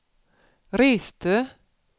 reste